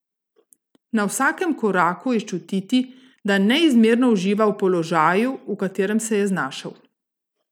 Na vsakem koraku je čutiti, da neizmerno uživa v položaju, v katerem se je znašel.